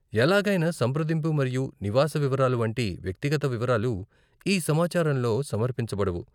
ఎలాగైనా సంప్రదింపు మరియు నివాస వివరాలు వంటి వ్యక్తిగత వివరాలు ఈ సమాచారంలో సమర్పించబడవు.